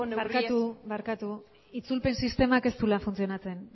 horrelako barkatu barkatu itzulpen sistemak ez duela funtzionatzen